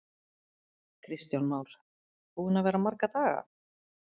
Kristján Már: Búinn að vera marga daga?